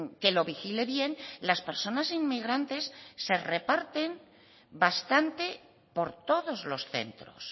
que lo vigile bien las personas inmigrantes se reparten bastante por todos los centros